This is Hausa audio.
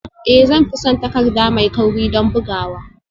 Ee zan fi son takarda mai kauri don bugawa